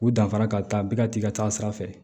U danfara ka taa bɛɛ ka t'i ka taa sira fɛ